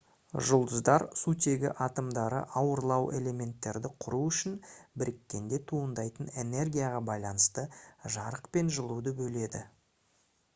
жұлдыздар сутегі атомдары ауырлау элементтерді құру үшін біріккенде туындайтын энергияға байланысты жарық пен жылуды бөледі